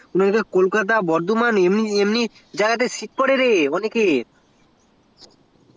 মানে kolkata burdwaman এ sit পরে রে অনেকের